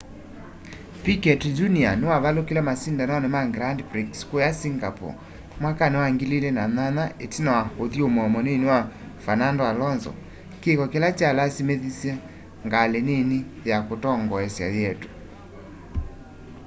piquet jr niwavalukile masindanoni ma grand prix kuuya singapore mwakani wa 2008 itina wa uthyumuo munini wa fernando alonso kiko kila kyalasimithisye ngali nini ya kutongoesya yietwe